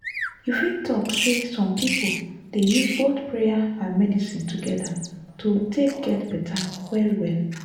you fit talk say some people dey use both prayer and medicine together to take get better well-well.